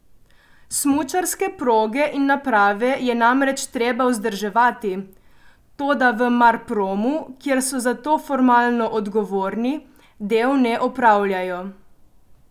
Smučarske proge in naprave je namreč treba vzdrževati, toda v Marpromu, kjer so za to formalno odgovorni, del ne opravljajo.